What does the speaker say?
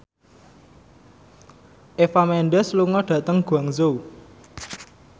Eva Mendes lunga dhateng Guangzhou